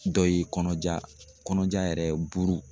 Dɔ ye kɔnɔja kɔnɔja yɛrɛ buru